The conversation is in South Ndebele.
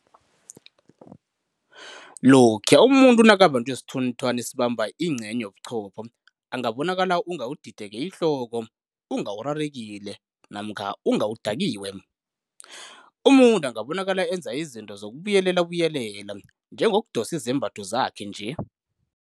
Lokhuya umuntu nakabanjwe sithunthwana esibamba ingcenye yobuchopho, angabonakala unga udideke ihloko, unga urarekile namkha unga udakiwe. Umuntu angabonakala enza izinto zokubuyelelabuyelela, njengokudosa izembatho zakhe nje.